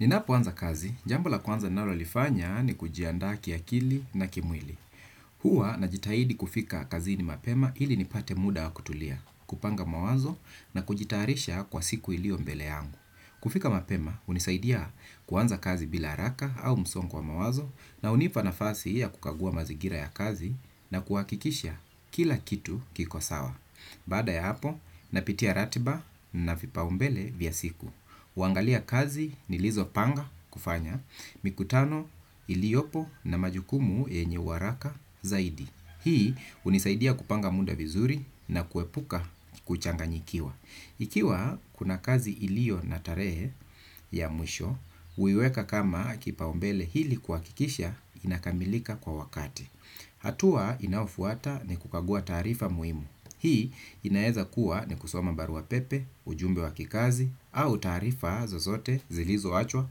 Ninapoanza kazi, jambo la kwanza nalolifanya ni kujiandaa kiakili na kimwili. Huwa na jitahidi kufika kazi ni mapema ili nipate muda wa kutulia, kupanga mawazo na kujitarisha kwa siku ilio mbele yangu. Kufika mapema unisaidia kuanza kazi bila haraka au msongo wa mawazo na unipa nafasi ya kukagua mazigira ya kazi na kuhakikisha kila kitu kiko sawa. Bada ya hapo, napitia ratiba na vipa umbele vya siku. Uangalia kazi nilizo panga kufanya, mikutano iliopo na majukumu yenye uharaka zaidi. Hii unisaidia kupanga muda vizuri na kuepuka kuchanganyikiwa. Ikiwa kuna kazi ilio na tarehe ya mwisho, uiweka kama kipaumbele hili kuhakikisha inakamilika kwa wakati. Atua inayofuata ni kukagua taarifa muhimu. Hii inaeza kuwa ni kusoma barua pepe, ujumbe wakikazi au taarifa zozote zilizo achwa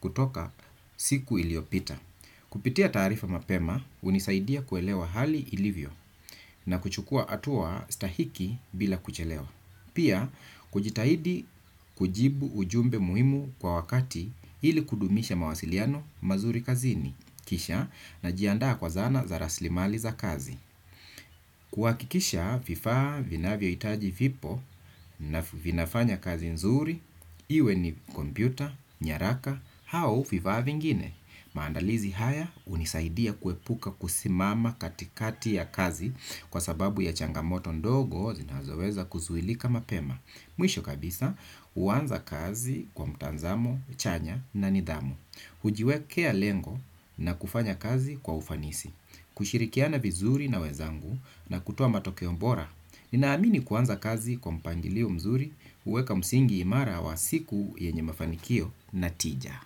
kutoka siku iliopita. Kupitia taarifa mapema unisaidia kuelewa hali ilivyo na kuchukua atua stahiki bila kuchelewa. Pia kujitahidi kujibu ujumbe muhimu kwa wakati ili kudumisha mawasiliano mazuri kazini kisha na jiandaa kwa zana za raslimali za kazi. Kwa kikisha vifaa vinavyo itaji vipo na vinafanya kazi nzuri. Iwe ni kompyuta, nyaraka, hao vifaa vingine. Maandalizi haya unisaidia kuepuka kusimama katikati ya kazi kwa sababu ya changamoto ndogo zinazoweza kuzuilika mapema. Mwisho kabisa uanza kazi kwa mtanzamo, chanya na nidhamu. Ujiwekea lengo na kufanya kazi kwa ufanisi. Kushirikiana vizuri na wezangu na kutoa matokeo bora. Ninaamini kuanza kazi kwa mipangilio mzuri. Uweka msingi imara wa siku yenye mafanikio natija.